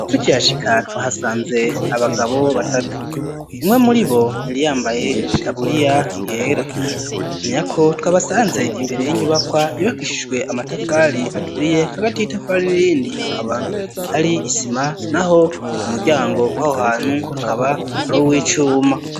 Tukihashika twahasanze abagabo batatu, umwe muri bo yambaye itaburiya yera womenyako twabasanze imbere y'inyubakwa yubakishijwe amatafari aturiye hagati y'itafari nirindi hakaba hari isima naho umuryango waho hantu akaba ari uw'icuma.